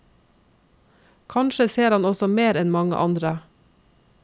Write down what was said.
Kanskje ser han også mer enn mange andre.